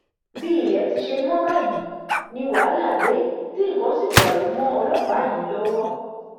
bí ilé ti ṣe mọ báyìí ni wàhálà dé tí nǹkan sì dàrú mọ ọlọpàá yìí lọwọ